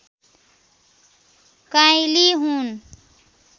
काँइली हुन्